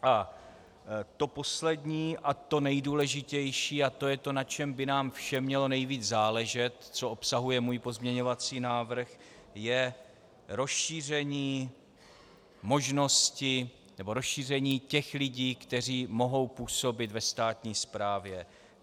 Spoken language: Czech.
A to poslední a to nejdůležitější, a to je to, na čem by nám všem mělo nejvíc záležet, co obsahuje můj pozměňovací návrh, je rozšíření možnosti nebo rozšíření těch lidí, kteří mohou působit ve státní správě.